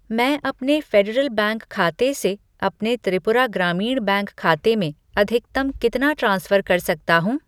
मैं अपने Federal Bank खाते से अपने त्रिपुरा ग्रामीण बैंक खाते में अधिकतम कितना ट्रांसफ़र कर सकता हूँ?